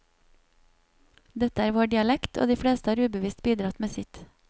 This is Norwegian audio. Dette er vår dialekt, og de fleste har ubevisst bidratt med sitt.